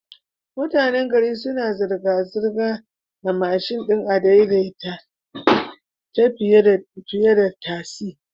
Mutanan gari suna zirga zirgar a mashin din adai-dai-ta fiyeda tasi